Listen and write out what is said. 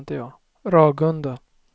Ragunda